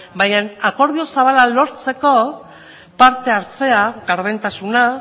baina akordio zabala lortzeko parte hartzea gardentasuna